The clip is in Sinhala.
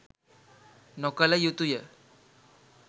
නොකළ යුතුය.